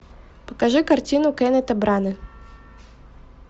покажи картину кеннета брана